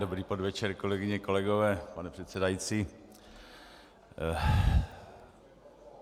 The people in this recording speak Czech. Dobrý podvečer, kolegyně, kolegové, pane předsedající.